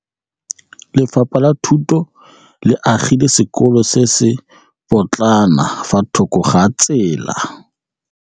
Lefapha la Thuto le agile sekôlô se se pôtlana fa thoko ga tsela.